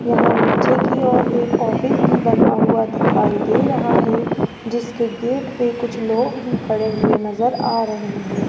यहां नीचे की ओर एक ऑफिस भी बना हुआ दिखाई दे रहा है जिसके गेट पे कुछ लोग भी खड़े हुए नजर आ रहे हैं।